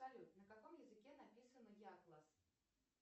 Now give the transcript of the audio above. салют на каком языке написан якласс